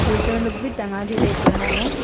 Waiter लोग भी टंना के डेख रहा है।